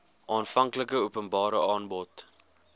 aanvanklike openbare aanbod